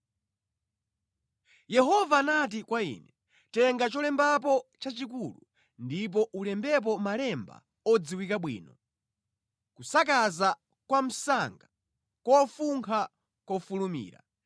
Yehova anati kwa ine, “Tenga cholembapo chachikulu ndipo ulembepo malemba odziwika bwino: Kusakaza-Kwamsanga Kufunkha-Kofulumira .